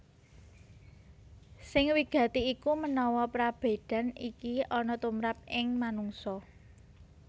Sing wigati iku menawa prabédan iki ana tumrap ing manungsa